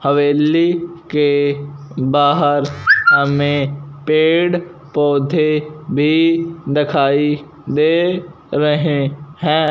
हवेली के बाहर हमें पेड़ पौधे भी दिखाई दे रहे है।